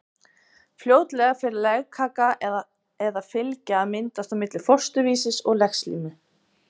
Fljótlega fer legkaka eða fylgja að myndast á milli fósturvísis og legslímu.